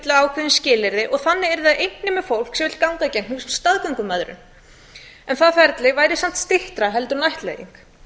ákveðin skilyrði og þannig yrði það einnig með fólk sem vill ganga gegn staðgöngumæðrum en það væri samt styttra heldur en ættleiðing